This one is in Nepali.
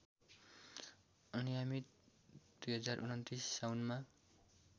अनियमित २०२९ साउनमा